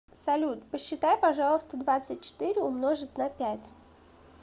салют посчитай пожалуйста двадцать четыре умножить на пять